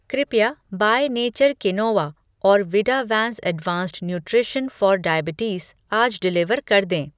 कृपया by nature quinoa और विडावैंस एडवांस्ड नुट्रिशन फ़ॉर डायबिटीज़ आज डिलीवर कर दें।